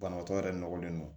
Banabaatɔ yɛrɛ nɔgɔlen don